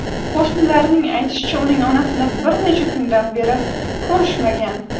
Qo‘shnilarining aytishicha, uning onasini bir necha kundan beri ko‘rishmagan.